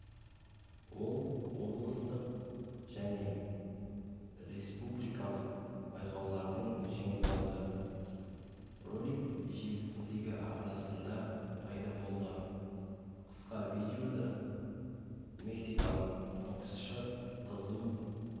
ол облыстық және республикалық байқаулардың жеңімпазы ролик желісіндегі арнасында пайда болды қысқа видеода мексикалық боксшы қызу